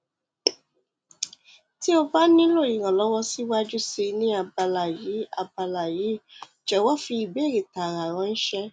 ti o ba nilo iranlọwọ mi siwaju sii ni abala yii abala yii jọwọ fi ibeere taara ranṣẹ